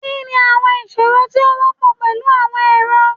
Kini awọn iṣoro ti o wọpọ pẹlu awọn ẹrọ?